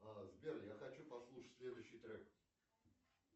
сбер я хочу послушать следующий трек